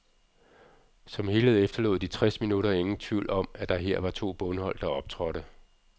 Som helhed efterlod de tres minutter ingen i tvivl om, at det her var to bundhold, der optrådte.